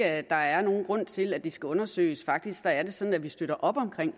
at der er nogen grund til at det skal undersøges faktisk er det sådan at vi støtter op om